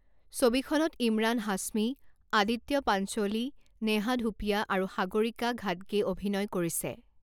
ছবিখনত ইমৰাণ হাছমী, আদিত্য পাঞ্চোলি, নেহা ধুপীয়া আৰু সাগৰিকা ঘাটগেই অভিনয় কৰিছে।